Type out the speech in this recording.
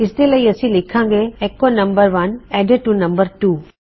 ਇਸ ਦੇ ਲਈ ਅਸੀ ਲਿਖਾਂ ਗੇ ਐੱਕੋ ਨੰਮ1 ਐਡਿਡ ਟੂ ਨੰਮ2